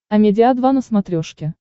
амедиа два на смотрешке